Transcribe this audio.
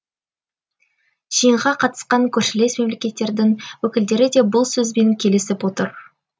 жиынға қатысқан көршілес мемлекеттердің өкілдері де бұл сөзбен келісіп отыр